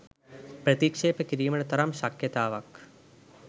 ප්‍රතික්‍ෂේප කිරීමට තරම් ශක්‍යතාවක්